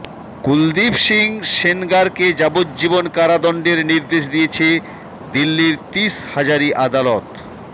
কুলদীপ সিং সেনগারকে যাবজ্জীবন কারাদণ্ডের নির্দেশ দিয়েছে দিল্লির তিস হাজারি আদালত